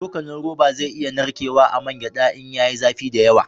Cokalin roba zai iya narkewa a man gyada in ya yi zafi da yawa